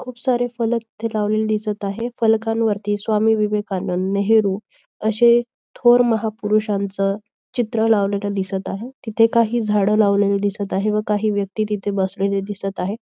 खूप सारे फलक इथे लावलेली दिसत आहे. फलकांवरती स्वामी विवेकानंद नेहरू अशे थोर महापुरुषांच चित्र लावलेलं दिसत आहे. तिथं काही काही झाड लावलेली दिसत आहे व काही व्यक्ती तिथे बसलेले दिसत आहे.